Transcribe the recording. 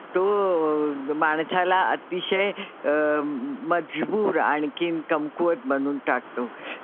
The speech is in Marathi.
तो माणसाला आतिशय अं मजबूर आणखीन कमकुवत बनवून टाकतो.